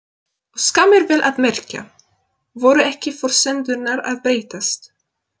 Og skammir, vel að merkja. voru ekki forsendurnar að breytast?